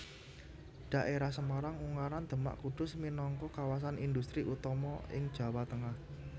Dhaérah Semarang Ungaran Demak Kudus minangka kawasan indhustri utama ing Jawa Tengah